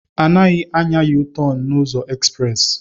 Anaghị anya Yu-tọn n'ụzọ ezprezị